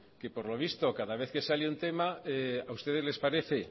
que por lo visto cada vez que sale un tema a ustedes les parece